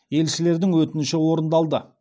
елшілердің өтініші орындалды